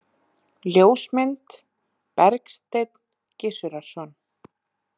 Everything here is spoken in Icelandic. Ljósmynd: Bergsteinn Gizurarson.